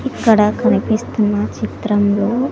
ఇక్కడ కనిపిస్తున్న చిత్రంలో--